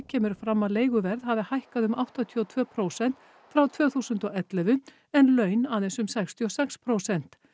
kemur fram að leiguverð hafi hækkað um áttatíu og tvö prósent frá tvö þúsund og ellefu en laun aðeins um sextíu og sex prósent